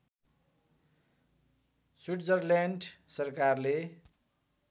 Switzerland सरकारले